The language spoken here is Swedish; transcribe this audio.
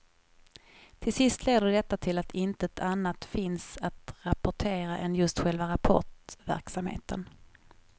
Till sist leder detta till att intet annat finns att rapportera än just själva rapportverksamheten.